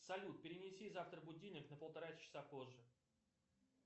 салют перенеси завтра будильник на полтора часа позже